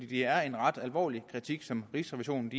det er en ret alvorlig kritik som rigsrevisionen